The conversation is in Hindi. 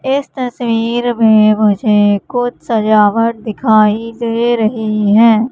इस तस्वीर में मुझे कुछ सजावट दिखाई दे रही है।